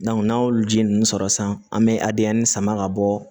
n'an y'olu ji ninnu sɔrɔ sisan an bɛ adiya ni sama ka bɔ